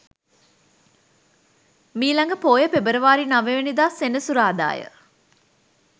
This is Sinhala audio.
මීළඟ පෝය පෙබරවාරි 09 වැනි දා සෙනසුරාදා ය.